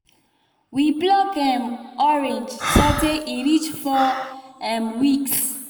we pluck um orange so tay e reach four um weeks